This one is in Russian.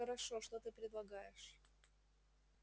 хорошо что ты предлагаешь